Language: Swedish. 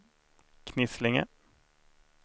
Knislinge